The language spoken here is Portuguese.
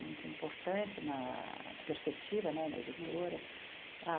muito importante na perspectiva, né na editora.